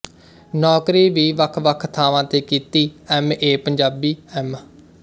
ਨੌਕਰੀ ਵੀ ਵੱਖਵੱਖ ਥਾਵਾਂ ਤੇ ਕੀਤੀ ਐੱਮ ਏ ਪੰਜਾਬੀ ਐਮ